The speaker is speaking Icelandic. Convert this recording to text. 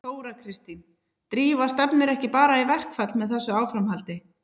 Þóra Kristín: Drífa stefnir ekki bara í verkfall með þessu áframhaldi?